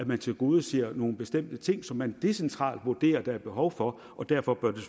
man tilgodeser nogle bestemte ting som man decentralt vurderer der er behov for og derfor bør det